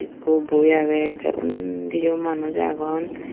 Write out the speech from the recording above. ekku boi age the undi u manuj agon.